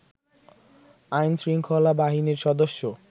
আইন শৃঙ্খলা বাহিনীর সদস্য